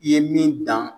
I ye min dan